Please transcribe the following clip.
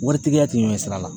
Waritigiya tɛ ɲɛsira la